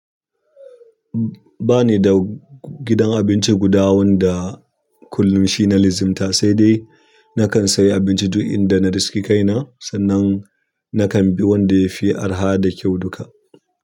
Ba ni da gidan abinci guda wanda kullum shi na lizimta, sai dai na kan sayi abinci duk inda na riski kaina, sannan na kan bi wanda ya fi araha da kyau duka.